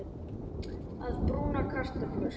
Að brúna kartöflur